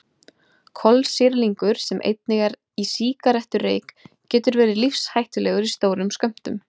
Kolsýrlingur sem einnig er í sígarettureyk getur verið lífshættulegur í stórum skömmtum.